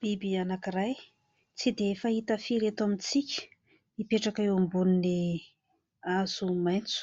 Biby anankiray, tsy dia fahita firy eto amintsika, mipetraka eo ambonin'ny hazo maitso.